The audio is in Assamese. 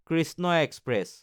কৃষ্ণ এক্সপ্ৰেছ